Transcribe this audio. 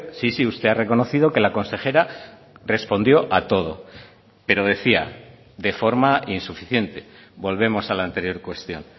sí sí usted ha reconocido que la consejera respondió a todo pero decía de forma insuficiente volvemos a la anterior cuestión